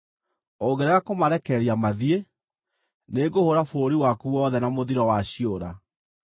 Ũngĩrega kũmarekereria mathiĩ, nĩngũhũũra bũrũri waku wothe na mũthiro wa ciũra.